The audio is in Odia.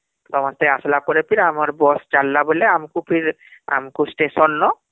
ସମସ୍ତେ ଆସିଲା ପରେ ଫିର ଆମର bus ଚାଲିଲା ବୋଲେ ଆମକୁ ଫିର ଆମକୁ ଷ୍ଟେସନ